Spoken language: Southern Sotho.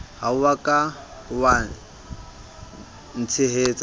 ha o ka wa ntshehetsa